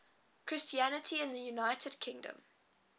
christianity in the united kingdom